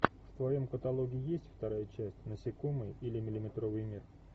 в твоем каталоге есть вторая часть насекомые или миллиметровый мир